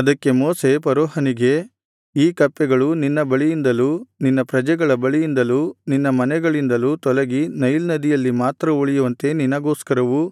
ಅದಕ್ಕೆ ಮೋಶೆ ಫರೋಹನಿಗೆ ಈ ಕಪ್ಪೆಗಳು ನಿನ್ನ ಬಳಿಯಿಂದಲೂ ನಿನ್ನ ಪ್ರಜೆಗಳ ಬಳಿಯಿಂದಲೂ ನಿನ್ನ ಮನೆಗಳಿಂದಲೂ ತೊಲಗಿ ನೈಲ್ ನದಿಯಲ್ಲಿ ಮಾತ್ರ ಉಳಿಯುವಂತೆ ನಿನಗೋಸ್ಕರವೂ